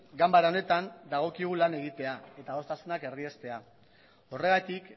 ganbara honetan dagokigu lan egitea eta adostasunak erdiestea horregatik